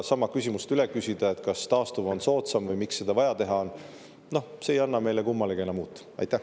Aga küsida üle sama küsimust, kas taastuv on soodsam või miks seda vaja teha on – noh, see ei anna meile kummalegi midagi uut juurde.